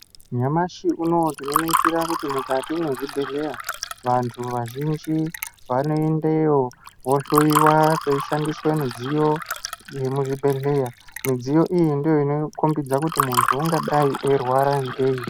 Nyamashi unowu tinoona kuti mukati mezvibhedhlera vantu vazhinji vanoendayo vhohloya veishandiswa midziyo yemuzvibhedhlera midziyo ndoinokokbidza kuti muntu ungarwara ngei.